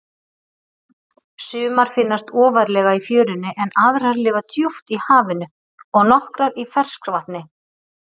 Sumar finnast ofarlega í fjörunni en aðrar lifa djúpt í hafinu og nokkrar í ferskvatni.